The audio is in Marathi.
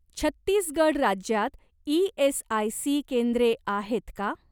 छत्तीसगड राज्यात ई.एस.आय.सी केंद्रे आहेत का?